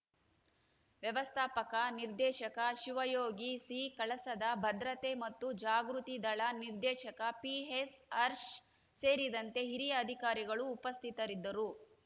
ವ್ಯವಸ್ಥಾಪಕ ನಿರ್ದೇಶಕ ಶಿವಯೋಗಿ ಸಿ ಕಳಸದ ಭದ್ರತೆ ಮತ್ತು ಜಾಗೃತಿದಳ ನಿರ್ದೇಶಕ ಪಿಎಸ್ ಹರ್ಷ ಸೇರಿದಂತೆ ಹಿರಿಯ ಅಧಿಕಾರಿಗಳು ಉಪಸ್ಥಿತರಿದ್ದರು